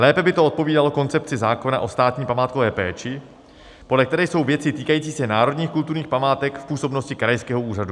Lépe by to odpovídalo koncepci zákona o státní památkové péči, podle které jsou věci týkající se národních kulturních památek v působnosti krajského úřadu.